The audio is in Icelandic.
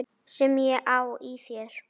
Sem ég á í þér.